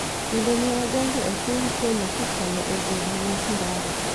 kendo ne odonjo e piny Kenya kokalo e boma ma Sirare .